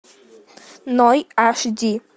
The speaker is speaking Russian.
ной аш ди